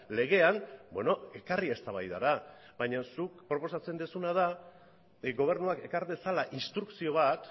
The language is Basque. legean ekarri eztabaidara baina zuk proposatzen duzuna da gobernuak ekar dezala instrukzio bat